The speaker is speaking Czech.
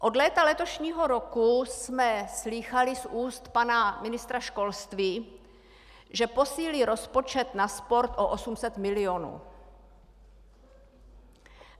Od léta letošního roku jsme slýchali z ústa pana ministra školství, že posílí rozpočet na sport o 800 milionů.